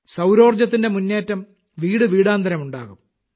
സൌരോർജ്ജത്തിന്റെ മുന്നേറ്റം വീടുവീടാന്തരം ഉണ്ടാകും